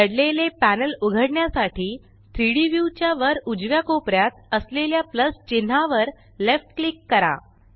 दडलेले पॅनल उघडण्यासाठी 3Dव्यू च्या वर उजव्या कोपऱ्यात असलेल्या प्लस चिन्हावर लेफ्ट क्लिक करा